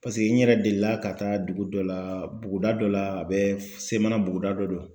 Paseke n yɛrɛ delila ka taa dugu dɔ laa buguda dɔ la a bɛ f Semana buguda dɔ don.